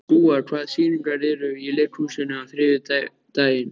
Gúa, hvaða sýningar eru í leikhúsinu á þriðjudaginn?